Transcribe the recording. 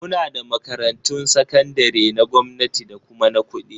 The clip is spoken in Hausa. Muna da makarantun sakandare na gwamnati da kuma na kuɗi